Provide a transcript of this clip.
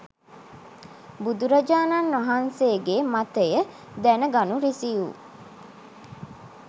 බුදුරජාණන්වහන්සේ ගේ මතය දැන ගනු රිසි වූ